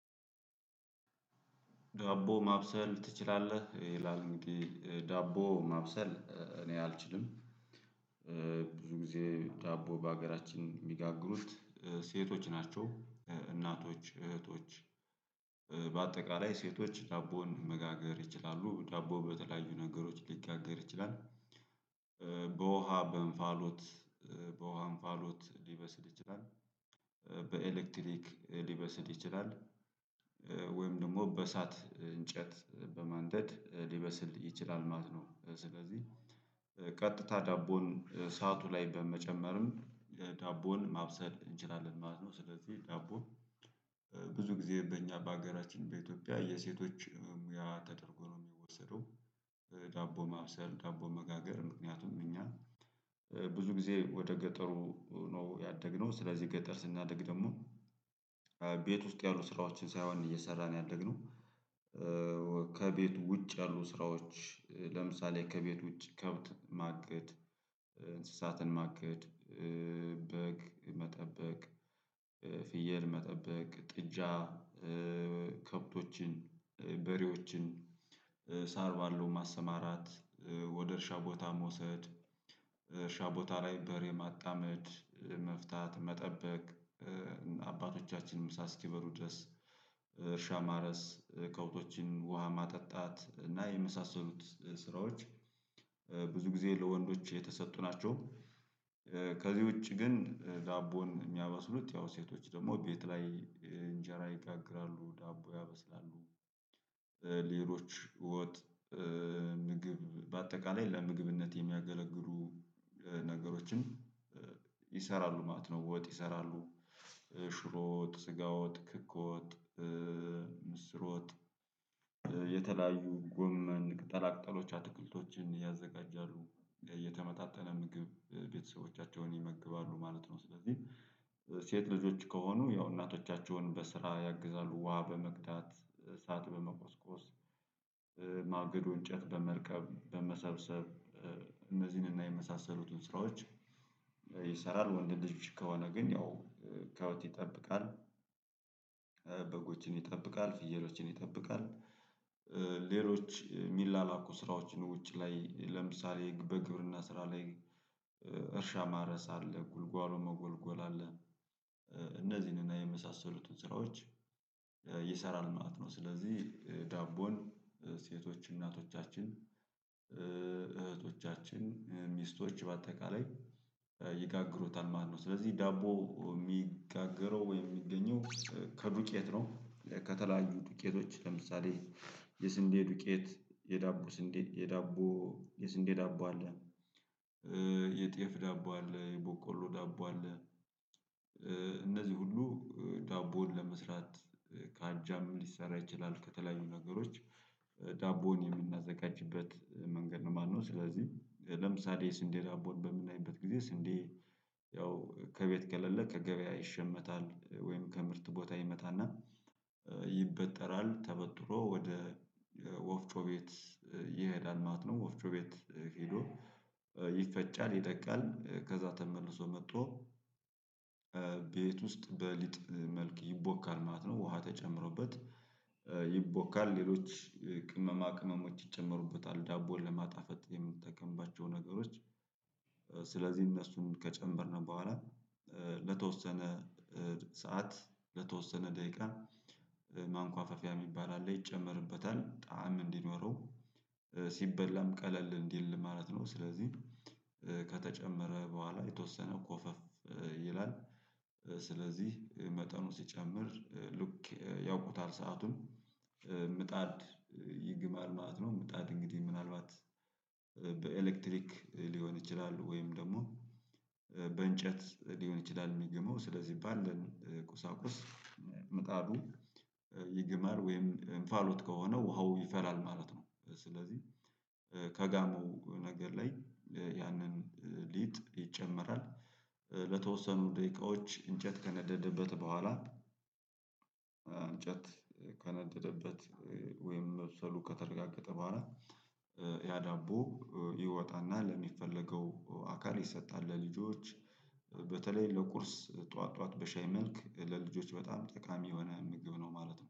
ዳቦ ማብሰል ትችላለህ ይላል? ዳቦ ማብሰል እኔ አልችልም። ብዙ ጊዜ ዳቦ በሀገራችን የሚጋግሩት ሴቶች ናቸው እናቶች እህቶች። በአጠቃላይ ሴቶች ዳቦን መጋገር ይችላሉ ዳቦ በተለያዩ ነገሮች ሊጋገር ይችላል። በውሃ በእንፋሎት በውሃ ፋሎት ሊበስል ይችላል። በኤሌክትሪክ ሊበስል ይችላል። ወይም ደግሞ በእሳት እንጨት በማንደድ ሊበስል ይችላል ማለት ነው። ስለዚህ ቀጥታ ዳቦን ሰዓቱ ላይ በመጨመርም ዳቦን ማብሰል እንችላለን ማለት ነው። ስለዚህ ዳቦ ብዙ ጊዜ በእኛ በሀገራችን በኢትዮጵያ የሴቶች ሙያ ተደርጎ ነው የሚወሰደው። ዳቦ ማብሰል ዳቦ መጋገር ምክንያቱም እኛ ብዙ ጊዜ ወደ ገጠሩ ነው ያደግነው ስለዚህ ገጠር ስናደግ ደግሞ ቤት ውስጥ ያሉ ስራዎችን ሳይሆን እየሰራን ያደግነው። ከቤቱ ውጭ ያሉ ስራዎች ለምሳሌ ከቤቱ ውጭ ከብት ማገድ እንስሳትን ማገድ። በግ መጠበቅ። ፍየል መጠበቅ ጥጃ ከብቶችን በሬዎችን ሳር ባለው ማሰማራት። ወደ እርሻ ቦታ መውሰድ እርሻ ቦታ ላይ በሬ ማጣመድ መፍታት መጠበቅ። አባቶቻችንም ምሳ ስኪበሉ ድረስ እርሻ ማረስ ከውቶችን ውሃ ማጠጣት እና የመሳሰሉት ስራዎች። ብዙ ጊዜ ለወንዶች የተሰጡ ናቸው። ከዚህ ውጪ ግን ዳቦን የሚያበስሉት ያው ሴቶች ደግሞ ቤት ላይ እንጀራ ይጋግራሉ ዳቦ ያበስላሉ። ሌሎች ወጥ ምግብ በአጠቃላይ ለምግብነት የሚያገለግሉ ነገሮችም ይሰራሉ ማለት ነው። ወጥ ይሰራሉ ሽሮዎጥ ስጋወጥ ክክዎጥ። ምስርወጥ። የተለያዩ ጎመን ቅጠላቅጠሎች አትክልቶችን ያዘጋጃሉ የተመጣጠነ ምግብ ቤተሰቦቻቸውን ይመግባሉ ማለት ነው። ስለዚህ ሴት ልጆች ከሆኑ ያው እናቶቻቸውን በስራ ያግዛሉ ውሃ በመቅዳት እሳት በመቆስቆስ። ማገዶ እንጨት በመልቀም በመሰብሰብ እነዚህንና የመሳሰሉትን ስራዎች ይሰራል ወንድ ልጆች ከሆነ ግን ያው ከብት ይጠብቃል። በጎችን ይጠብቃል ፍየሎችን ይጠብቃል። ሌሎች የሚላላኩ ስራዎች ነው ውጪ ላይ ለምሳሌ በግብርና ስራ ላይ እርሻ ማረስ አለ ጉልጓሎ መጎልጎል አለ። እነዚህንና የመሳሰሉትን ስራዎች ይሰራል ማለት ነው። ስለዚህ ዳቦን ሴቶች እናቶቻችን እህቶቻችን ሚስቶች በአጠቃላይ ይጋግሩታል ማለት ነው። ስለዚህ ዳቦ የሚጋገረው ወይም የሚገኘው ከዱቄት ነው። ከተለያዩ ዱቄቶች ለምሳሌ የስንዴ ዱቄት የዳቦ ስንዴ የዳቦ የስንዴ ዳቦ አለ። የጤፍ ዳቦ አለ የቦቆሎ ዳቦ አለ። እነዚህ ሁሉ ዳቦውን ለመስራት ከአጃም ሊሰራ ይችላል ከተለያዩ ነገሮች ዳቦውን የምናዘጋጅበት መንገድ ነው ማለት ነው። ስለዚህ ለምሳሌ ስንዴ ዳቦን በምናይበት ጊዜ ስንዴ ያው ከቤት ከለለ ከገበያ ይሸመታል ወይም ከምርት ቦታ ይመጣና ይበጠራል ተበጥሮ ወደ ወፍጮ ቤት ይሄዳል ማለት ነው። ወፍጮ ቤት ሄዶ ይፈጫል ይደቃል ከዛ ተመልሶ መጥቶ። ቤት ውስጥ በሊጥ መልክ ይቦካል ማለት ነው። ውሃ ተጨምሮበት ይቦካል ሌሎች ቅመማ ቅመሞች ይጨመሩበታል ዳቦን ለማጣፈጥ የምንጠቀምባቸው ነገሮች። ስለዚህ እነሱን ከጨመርነው በኋላ ለተወሰነ ሰዓት ለተወሰነ ደቂቃ ማንኳፈፊያ የሚባል አለ ይጨመርበታል ጣዕም እንዲኖረው ሲበላም ቀለል እንዲል ማለት ነው። ስለዚህ ከተጨመረ በኋላ የተወሰነ ኮፈፍ ይላል። ስለዚህ መጠኑ ሲጨምር ሉክ ያውቁታል ሰአቱን ምጣድ ይግማል ማለት ነው። ምጣድ እንግዲህ ምናልባት በኤሌክትሪክ ሊሆን ይችላል ወይም ደግሞ በእንጨት ሊሆን ይችላል። የሚግመው ስለዚህ ባለን ቁሳቁስ ምጣዱ ይግማል ወይም እንፋሎት ከሆነ ውሃው ይፈላል ማለት ነው። ስለዚህ ከጋሞ ነገር ላይ ያንን ሊጥ ይጨመራል። ለተወሰኑ ደቂቃዎች እንጨት ከነደደበት በኋላ እንጨት ከነደደበት ወይም መብሰሉ ከተረጋገጠ በኋላ። ያዳቦ ይወጣና ለሚፈለገው አካል ይሰጣል። ለልጆች በተለይ ለቁርስ ጠዋት ጠዋት በሻይ መልክ ለልጆች በጣም ጠቃሚ የሆነ ምግብ ነው ማለት ነው